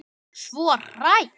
Svo hrædd.